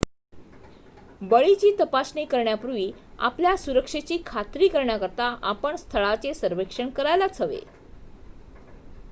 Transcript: बळीची तपासणी करण्यापूर्वी आपल्या सुरक्षेची खात्री करण्याकरिता आपण स्थळाचे सर्वेक्षण करायलाच हवे